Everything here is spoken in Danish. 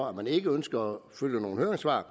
at man ikke ønsker at følge nogle høringssvar